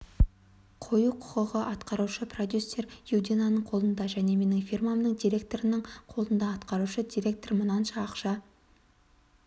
қою құқығы атқарушы продюсер юдинаның қолында және менің фирмамның директорының қолында атқарушы директор мынанша ақша